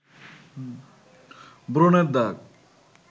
ব্রণের দাগ